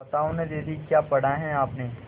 बताओ न दीदी क्या पढ़ा है आपने